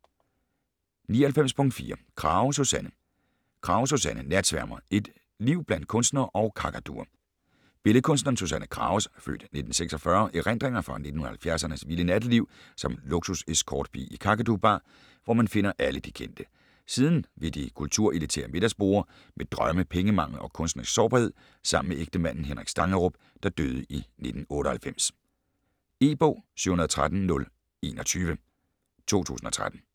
99.4 Krage, Susanne Krage, Susanne: Natsværmer: et liv blandt kunstnere og kakaduer Billedkunstneren Susanne Krages (f. 1946) erindringer fra 1970'ernes vilde natteliv som luksus-escortpige i Kakadu Bar, hvor man finder alle de kendte. Siden ved de kulturelitære middagsborde, med drømme, pengemangel og kunstnerisk sårbarhed sammen med ægtemanden Henrik Stangerup, der døde i 1998. E-bog 713021 2013.